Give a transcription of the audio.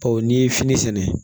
n'i ye fini sɛnɛ